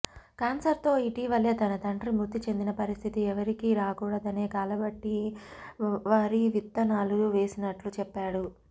cancer తో ఇటివలె తన తండ్రి మృతి చెందిన పరిస్థితి ఎవరికీ రాకూడదనే కాలబట్టి వరి విత్తనాలు వేసినట్లు చెప్పాడు